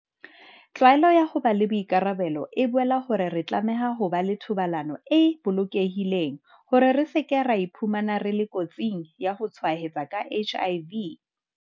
Tlwaelo ya ho ba le boikarabelo e boela hore re tlameha ho ba le thobalano e bolokehileng hore re se ke ra iphumana re le kotsing ya ho tshwaetswa ke HIV kapa ho tshwaetsa ba bang ka yona.